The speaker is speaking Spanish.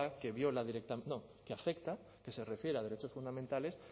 que viola directa no que afecta que se refiera a derechos fundamentales